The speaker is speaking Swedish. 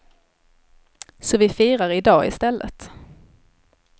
Så vi firar i dag i stället.